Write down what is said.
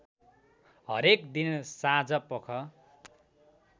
हरेक दिन साँझपख